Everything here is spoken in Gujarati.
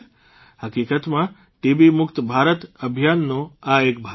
હકીકતમાં ટીબીમુક્ત ભારત અભિયાનનો આ એક ભાગ છે